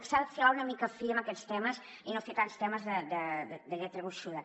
s’ha de filar una mica fi en aquests temes i no fer tants temes de lletra gruixuda